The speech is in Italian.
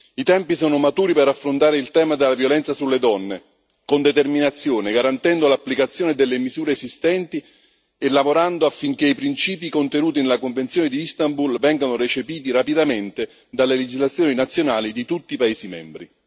I tempi sono maturi per affrontare il tema dalla violenza sulle donne con determinazione, garantendo l'applicazione delle misure esistenti e lavorando affinché i principi contenuti nella convenzione di Istanbul vengano recepiti rapidamente dalle legislazioni nazionali di tutti i paesi membri.